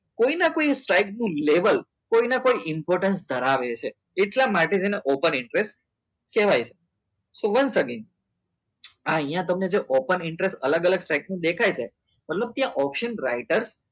કોઈ કોઈ ફેગનું level કોઈને કોઈ important ધરાવે છે એટલા માટે થઇ ને open interest કહેવાય છે so once again આ અહિયાં તમને જો open interest અલગ અલગ side નું દેખાય છે મતલબ ત્યાં option writer